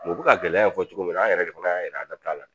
Mɛ u bɛ ka gɛlɛya in fɔ cogo min na an yɛrɛ de fana y'a jira an da tɛ a la.